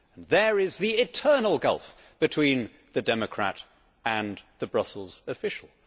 There is the eternal gulf between the democrat and the Brussels official.